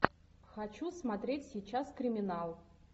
хочу смотреть сейчас криминал